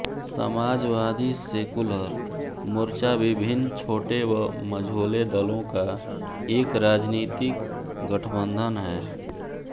Samajwadi Secular Morcha विभिन्न छोटे व मझोले दलों का एक राजनीतिक गठबंधन है